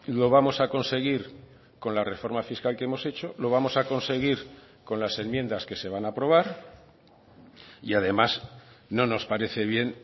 lo vamos a conseguir con la reforma fiscal que hemos hecho lo vamos a conseguir con las enmiendas que se van a aprobar y además no nos parece bien